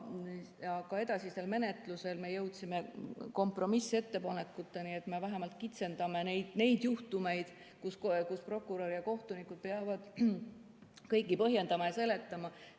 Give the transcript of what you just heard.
Aga edasisel menetlusel me jõudsime kompromissettepanekuteni, et me vähemalt kitsendame neid juhtumeid, kus prokurör ja kohtunikud peavad kõike põhjendama ja seletama.